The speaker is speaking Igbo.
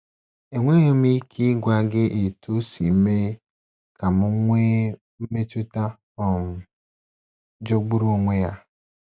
Enweghị m ike ịgwa gị etu o si mee ka m nwee mmetụta um jọgburu onwe ya.